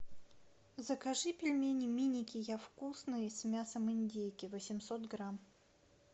закажи пельмени миники я вкусный с мясом индейки восемьсот грамм